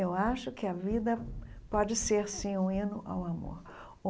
Eu acho que a vida pode ser, sim, um hino ao amor.